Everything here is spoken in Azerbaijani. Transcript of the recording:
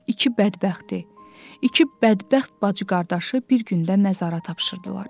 İki bədbəxti, iki bədbəxt bacı-qardaşı bir gündə məzara tapşırdılar.